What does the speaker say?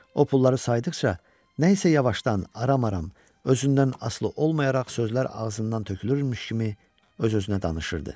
O pulları saydıqca nəysə yavaşdan, aram-aram özündən asılı olmayaraq sözlər ağzından tökülürmüş kimi öz-özünə danışırdı.